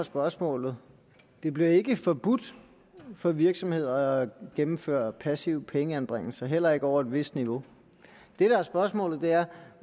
spørgsmålet det bliver ikke forbudt for virksomheder at gennemføre passive pengeanbringelser heller ikke over et vist niveau det der er spørgsmålet er